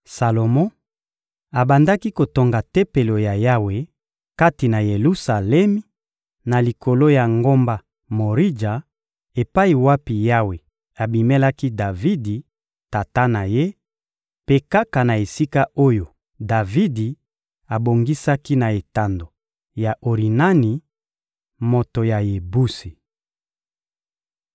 Salomo abandaki kotonga Tempelo ya Yawe kati na Yelusalemi, na likolo ya ngomba Morija epai wapi Yawe abimelaki Davidi, tata na ye, mpe kaka na esika oyo Davidi abongisaki na etando ya Orinani, moto ya Yebusi.